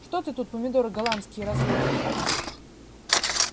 что ты тут помидоры голландские разводишь